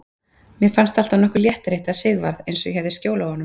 Mér fannst alltaf nokkur léttir að hitta Sigvarð, eins og ég hefði skjól af honum.